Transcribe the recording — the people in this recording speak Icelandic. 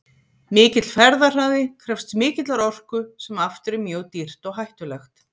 Mikill ferðahraði krefst mikillar orku sem aftur er mjög dýrt og hættulegt.